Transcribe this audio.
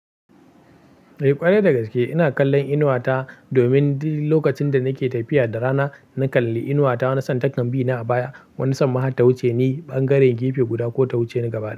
Eh ƙwarai dagaske, ina kallon inuwa ta domin duk lokacin da nake tafiya da rana, na kalli inuwa ta. Na san takan bi na a baya, wani san ma har ta wuce ni ɓangare gefe guda ko ta wuce ni gaba.